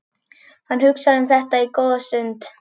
Hann hugsar um þetta góða stund.